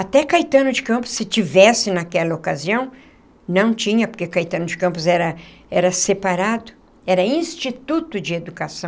Até Caetano de Campos, se tivesse naquela ocasião, não tinha porque Caetano de Campos era era separado, era Instituto de Educação.